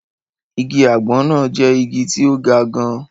Igi àgbọn náà jẹ́ igi tí ó ga gan-an